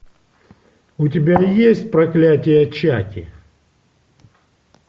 у тебя есть проклятие чаки